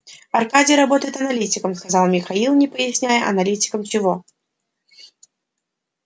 аркадий работает аналитиком сказал михаил не поясняя аналитиком чего